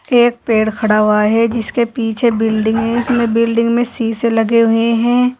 एक पेड़ खड़ा हुआ है जिसके पीछे बिल्डिंग है इसमें बिल्डिंग में सीसे लगे हुए हैं।